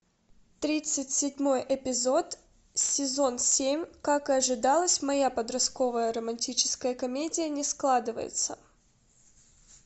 тридцать седьмой эпизод сезон семь как и ожидалось моя подростковая романтическая комедия не складывается